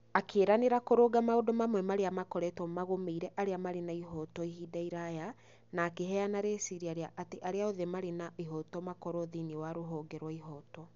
Akĩĩranĩra kũrũnga maũndũ mamwe marĩa makoretwo magũmĩire arĩa marĩ na ihooto ihinda iraya, na akĩheana rĩciria rĩa atĩ arĩa othe marĩ na ihooto makorũo thĩinĩ wa ruhonge rwa ihooto.